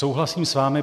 Souhlasím s vámi.